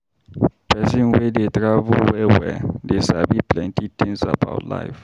Pesin wey dey travel well-well dey sabi plenty tins about life.